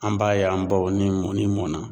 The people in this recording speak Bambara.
An b'a ye an baw ni mɔni mɔnna